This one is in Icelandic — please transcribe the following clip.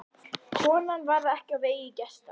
Konan varð ekki á vegi gesta.